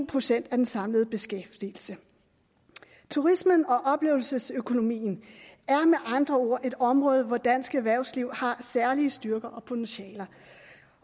procent af den samlede beskæftigelse turismen og oplevelsesøkonomien er med andre ord et område hvor dansk erhvervsliv har særlige styrker og potentialer